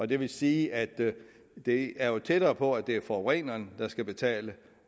det vil sige at det er tættere på at det er forureneren der skal betale